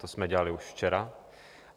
To jsme dělali už včera.